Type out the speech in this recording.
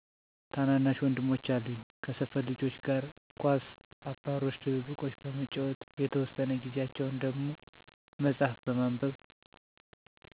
ታናናሽ ወንድሞች አሉኝ ከሰፈር ልጆች ጋር ኳስ አባሮሽ ድብብቆሽ በመጫወት የተወሰነ ጊዛቸውን ደሞ መፅሀፍ በማንበብ